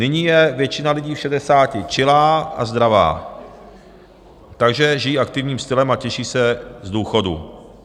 Nyní je většina lidí v šedesáti čilá a zdravá, takže žijí aktivním stylem a těší se z důchodu.